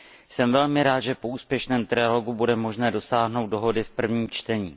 Jsem velmi rád, že po úspěšném trialogu bude možné dosáhnout dohody v prvním čtení.